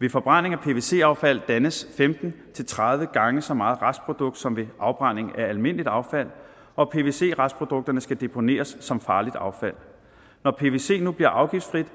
ved forbrænding af pvc affald dannes femten til tredive gange så meget restprodukt som ved afbrænding af almindeligt affald og pvc restprodukter skal deponeres som farligt affald når pvc nu bliver afgiftsfrit